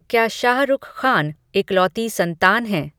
क्या शाहरुख़ ख़ान इकलौती संतान हैं